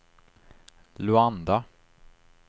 Luanda